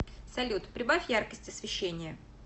салют прибавь яркость освещения